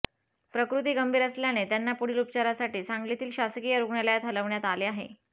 प्रकृती गंभीर असल्याने त्यांना पुढील उपचारासाठी सांगलीतील शासकीय रुग्णालयात हलवण्यात आले आहे